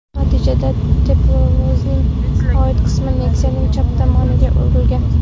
Natijada teplovozning old qismi Nexia’ning chap tomoniga urilgan.